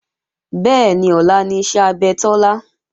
Bẹ́ẹ̀ni, ọlá ni iṣẹ́ abẹ Tọ́lá